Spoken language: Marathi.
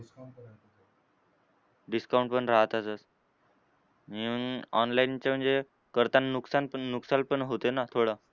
Discount पण राहतातच. आणि online चे म्हणजे करताना नुकसानपण नुकसान पण होते ना थोडा.